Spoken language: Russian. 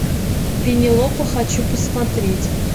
пенелопа хочу посмотреть